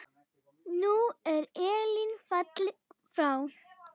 Nú er Elín fallin frá.